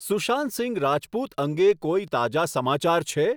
સુશાંત સિંઘ રાજપૂત અંગે કોઈ તાજા સમાચાર છે